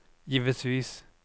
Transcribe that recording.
givetvis